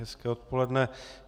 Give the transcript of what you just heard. Hezké odpoledne.